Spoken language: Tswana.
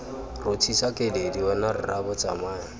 rothisa keledi wena rraabo tsamaya